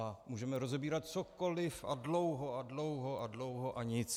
A můžeme rozebírat cokoliv a dlouho a dlouho a dlouho a nic.